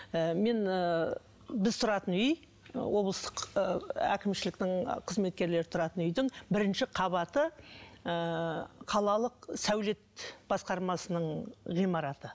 ы мен ыыы біз тұратын үй облыстық ы әкімшіліктің қызметкерлері тұратын үйдің бірінші қабаты ыыы қалалық сәулет басқармасының ғимараты